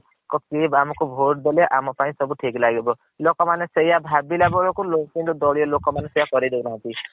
କିଏ ଆମ ପାଇଁ vote ଦେଲେ ଆମ ପାଇଁ ସବୁ ଠିକ ଲାଗିବ ଲୋକ ମନେ ସେଇଆ ଭାବିଲା ବେଳକୁ ଦଲିଅ ଲୋକ ମାନେ ସେଇଆ କରେଇ ଦଉ ନାହାନ୍ତି।